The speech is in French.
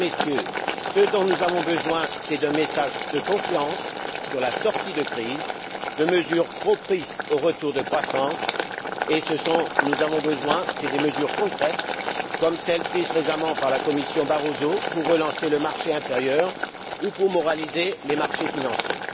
Mesdames et Messieurs, ce dont nous avons besoin c'est d'un message de confiance sur la sortie de crise, de mesures propices au retour de croissances, de mesures concrètes comme celles prises récemment par la commission Barroso pour relancer le marché intérieur ou pour moraliser les marchés financiers.